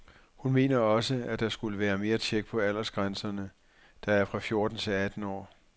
Hun mener også, at der skulle være mere tjek på aldersgrænserne, der er fra fjorten til atten år.